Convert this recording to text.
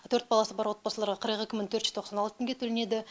төрт баласы бар отбасыларға қырық екі мың төрт жүз тоқсан алты теңге төленеді